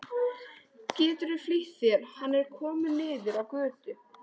Geturðu flýtt þér. hann er kominn niður á götu!